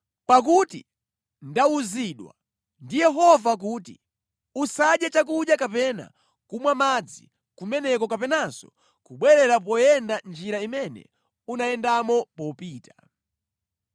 Pakuti ndawuzidwa ndi Yehova kuti, ‘Usadye chakudya kapena kumwa madzi kumeneko kapenanso kubwerera poyenda njira imene unayendamo popita.’ ”